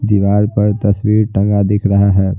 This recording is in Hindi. दीवार पर तस्वीर टंगा दिख रहा है।